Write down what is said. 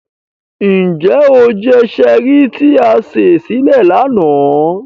Njẹ o jẹ Cherie ti a se sile lana?